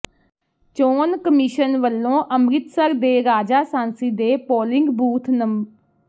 ਚੋਣ ਕਮਿਸ਼ਨ ਵੱਲੋਂ ਅੰਮ੍ਰਿਤਸਰ ਦੇ ਰਾਜਾਸਾਂਸੀ ਦੇ ਪੋਲਿੰਗ ਬੂਥ ਨੰ